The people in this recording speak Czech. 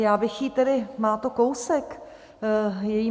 Já bych jí tedy - má to kousek, její